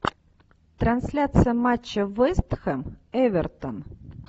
трансляция матча вест хэм эвертон